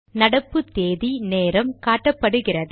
நடப்பு தேதி நேரம் காட்டப்படுகிறது